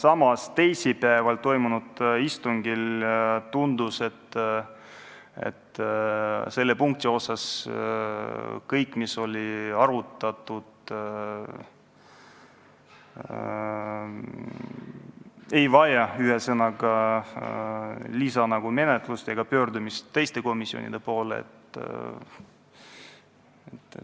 Aga teisipäeval toimunud istungil tundus, et selle punkti osas on kõik selge, pole vaja võtta lisaaega, et pöörduda teiste komisjonide poole.